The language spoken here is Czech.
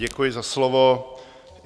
Děkuji za slovo.